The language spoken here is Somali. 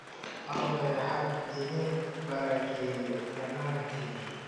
Alle ha idin barakeeyo dhamaantiin